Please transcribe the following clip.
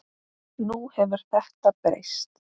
Nú hefur þetta breyst.